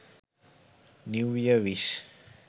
new year wish